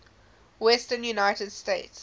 western united states